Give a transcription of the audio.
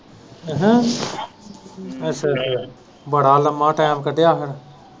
ਅਹਾਂ ਅੱਛਾ ਅੱਛਾ ਅੱਛਾ ਬੜਾ ਲੰਬਾ time ਕੱਢਿਆ ਉਹਨੇ।।